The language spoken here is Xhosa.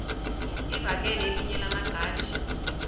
livakele elinye lamaqhaji